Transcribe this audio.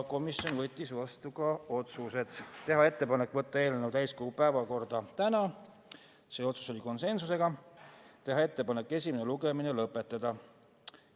Komisjon võttis vastu ka otsused: teha ettepanek võtta eelnõu täiskogu päevakorda tänaseks ja teha ettepanek esimene lugemine lõpetada .